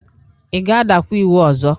Ị ga-adakwa iwu ọzọ?